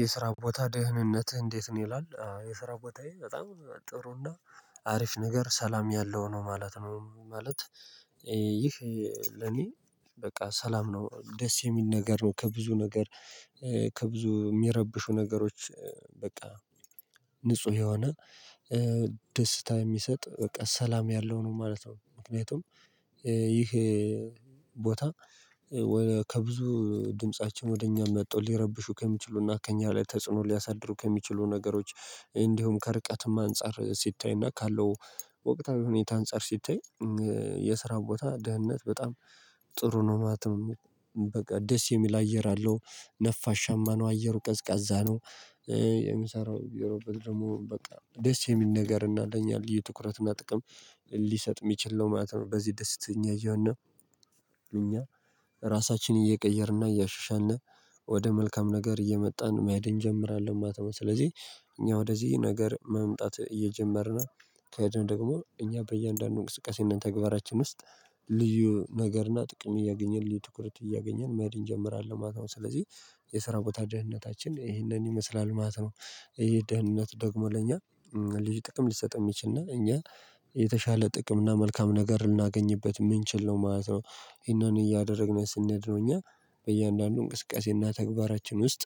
የስራ ቦታ ደህንነትህ እንዴት ነው? ይላል አዎ የስራ ቦታዬ በጣም ጥሩና አሪፍ ነገር ሰላም ያለው ነው ማለት ነው። ማለት። ይህ ለኔ በቃ ሰላም ነው ደስ የሚል ነገር ነው። ከብዙ ነገር ከብዙ የሚረብሹ ነገሮች። በቃ ንጹህ የሆነ ደስታ የሚሰጥ በቃ ሰላም ያለው ነው ማለት ነው። ምክንያቱም ይሄ ቦታ ከብዙ ድምፃችን ወደ እኛ መተው ሊረብሹ ከሚችሉና ከእኛ ላይ ተጽዕኖ ሊያሳድሩ ከሚችሉ ነገሮች እንዲሁም ከርቀትም አንፃር ሲታይና ካለው ወቅታዊ ሁኔታ አንፃር ሲታይ። የስራ ቦታ ደህንነት በጣም ጥሩ ነው ማለት ነው። በቃ ደስ የሚል አየር አለው ነፋሻማ ነው አየሩ ቀዝቃዛ ነው። የምሰራው የሮበል ደግሞ በቃ ደስ የሚል ነገር እናለኝ የልዩ ትኩረት እና ጥቅም ሊሰጥ የሚችል ነው ማለት ነው። በዚህ ደስተኛ እየሆን እኛ ራሳችንን እየቀየርና እያሻሻንነ ወደ መልካም ነገር እየመጣን መሄድ እንጀምራለን ማለት ነው። ስለዚህ እኛ ወደዚህ ነገር መምጣት እየጀመርን ከደን ደግሞ እኛ በእያንዳንዱ እንቅስቃሴነት ተግባራችን ውስጥ ልዩ ነገርና ጥቅም እያገኘን ልዩ ትኩረት እያገኘን መድን ጀምራለሁ ማለት ነው። ስለዚህ የስራ ቦታ ደህንነታችን ይሄንን ይመስላል ማለት ነው። ይሄ ደህንነት ደግሞ ለእኛ ልዩ ጥቅም ሊሰጠን የሚችል እና እኛ የተሻለ ጥቅም እና መልካም ነገር ልናገኝበት ምን ችለው ማለት ነው ይሄንን እያደረግን ስንሄድ ነው። እኛ በእያንዳንዱ እንቅስቃሴና ተግባራችን ውስጥ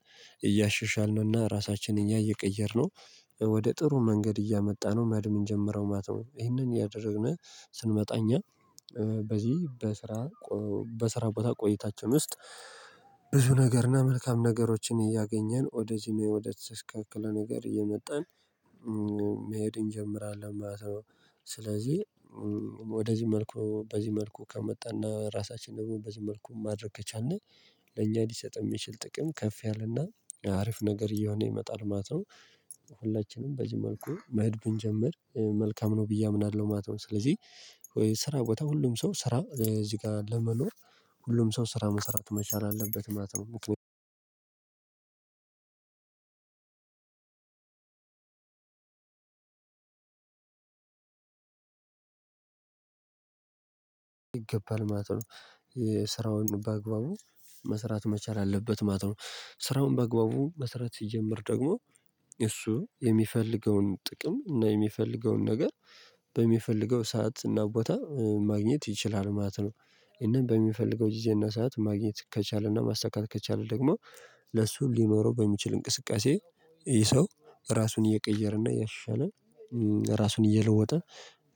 እያሸሻልንና ራሳችንን እኛ እየቀየርነው ወደ ጥሩ መንገድ እያመጣን ነው መሄድ እምንጀምረው ማለት ነው። ይሄንን እያደረግደረግነ ስንመጣ እኛ በዚህ በስራ በስራ ቦታ ቆይታችን ውስጥ ብዙ ነገር እና መልካም ነገሮችን እያገኘን ወደዚህ ወደዚ ወደተስተካከለ ነገር እየመጣን መሄድ እንጀምራለን ማለት ነው። ስለዚህ ወደዚህ መልኩ በዚህ መልኩ ከመጣና ራሳችን ደግሞ በዚህ መልኩ ማድረግ ከቻልን ለእኛ ሊሰጥም የሚችል ጥቅም ከፍ ያለና አሪፍ ነገር እየሆነ ይመጣል ማለት ነው። ሁላችንም በዚህ መልኩ መህድ ብንጀምር መልካም ነው ብዬ አምናለሁ ማለት ነው። ስለዚህ ስራ ቦታ ሁሉም ሰው ስራ እዚህ ጋር ለመኖር ሁሉም ሰው ስራ መሰራት መቻል አለበት ማለት ነው። ምክነያቱም ይገባል ማለት ነው። ስራውን በአግባቡ መስራት መቻል አለበት ማለት ነው። ስራውን በአግባቡ መስራት ሲጀምር ደግሞ እሱ የሚፈልገውን ጥቅም እና የሚፈልገውን ነገር በሚፈልገው ሰዓት እና ቦታ ማግኘት ይችላል ማለት ነው። ይሄንን በሚፈልገው ጊዜ እና ሰዓት ማግኘት ከቻለና ማሳካት ከቻለ ደግሞ ለሱ ሊኖረው በሚችል እንቅስቃሴ ይሄ ሰው ራሱን እየቀየረና እያሻሻለ ራሱን እየለወጠ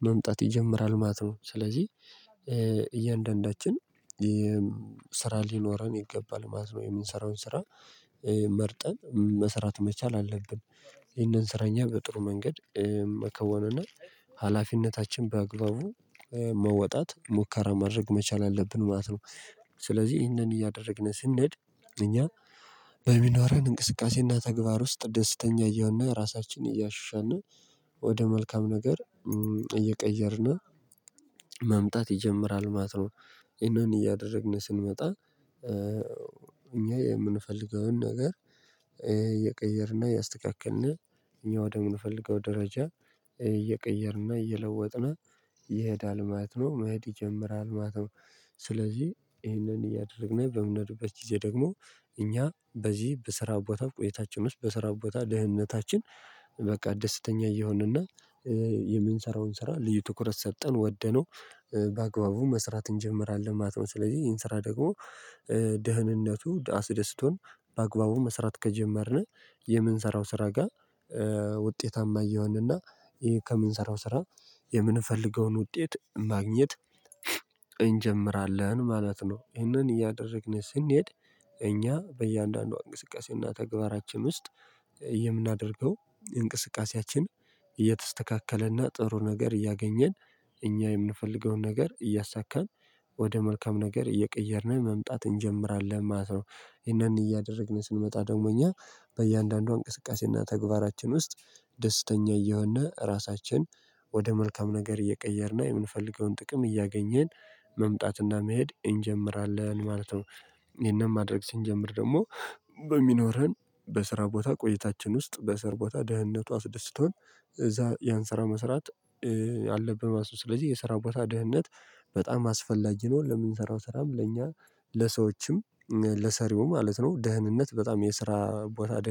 መምጣት ይጀምራል ማለት ነው። ስለዚህ እያንዳንዳችን ስራ ሊኖረን ይገባል ማለት ነው። የምንሰራውን ስራ መርጠን መስራት መቻል አለብን። ይህንን ስራ እኛ በጥሩ መንገድ መከወንና ሀላፊነታችን በአግባቡ መወጣት ሙከራ ማድረግ መቻል አለብን ማለት ነው። ስለዚህ ይህንን እያደረግን ስንሄድ እኛ በሚኖረን እንቅስቃሴና ተግባር ውስጥ ደስተኛ እየሆን ራሳችንን እያሻሻን ወደ መልካም ነገር እየቀየርን መምጣት ይጀምራል ማለት ነው። ይሄንን እያደረግን ስንመጣ እኛ የምንፈልገውን ነገር እየቀየርና ያስተካክልን እኛ ወደምንፈልገው ደረጃ እየቀየርንና እየለወጥን ይሄዳል ማለት ነው። መሄድ ይጀምራል ማለት ነው። ስለዚህ ይሄንን እያደረግን በምንሄድበት ጊዜ ደግሞ እኛ በዚህ በስራ ቦታ ቆይታችን ውስጥ በስራ ቦታ ደህንነታችን በቃ ደስተኛ እየሆንንና የምንሰራውን ስራ ልዩ ትኩረት ሰጠን ወደነው በአግባቡ መስራት እንጀምራለን ማለት ነው። ስለዚህ ይህን ስራ ደግሞ ደህንነቱ አስደስቶን በአግባቡ መስራት ከጀመርን የምንሰራው ስራ ጋር ውጤታማ እየዋንና ይሄ ከምንሰራው ስራ የምንፈልገውን ውጤት ማግኘት እንጀምራለን ማለት ነው። ይህንን እያደረግን ስንሄድ እኛ በእያንዳንዷ እንቅስቃሴና ተግባራችን ውስጥ የምናደርገው የእንቅስቃሴያችን እየተስተካከለና ጥሩ ነገር እያገኘን እኛ የምንፈልገውን ነገር እያሳካን ወደ መልካም ነገር እየቀየርን መምጣት እንጀምራለን ማለት ነው። ይሄንን እያደረግን ስንመጣ ደግሞ እኛ በእያንዳንዷ እንቅስቃሴና ተግባራችን ውስጥ ደስተኛ እየሆነ ራሳችን ወደ መልካም ነገር እየቀየርና የምንፈልገውን ጥቅም እያገኘን መምጣትና መሄድ እንጀምራለን ማለት ነው። ይሄንን ማድረግ ስንጀምር ደግሞ በሚኖረን በስራ ቦታ ቆይታችን ውስጥ በስር ቦታ ደህንነቱ አስደስቶን እዛ ያን ስራ መስራት አለብን ማለት ነው። ስለዚህ የሰራ ቦታ ደህንነት በጣም አስፈላጊ ነው ለምንሰራው ስራም ለእኛ ለሰዎችም ለሰሪውም ማለት ነው። ደህንነት በጣም የስራ ቦታ ደህን